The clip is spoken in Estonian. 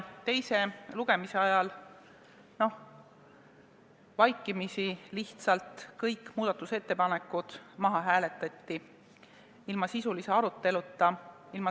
Teise lugemise ajal hääletati vaikimisi lihtsalt kõik muudatusettepanekud maha, ilma sisulise aruteluta.